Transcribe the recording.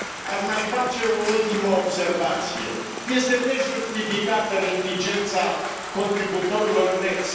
Aș mai face o ultimă observație este nejustificată reticența contributorilor neți.